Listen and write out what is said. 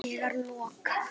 Þegar loka